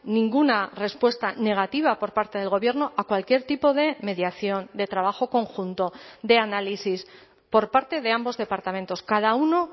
ninguna respuesta negativa por parte del gobierno a cualquier tipo de mediación de trabajo conjunto de análisis por parte de ambos departamentos cada uno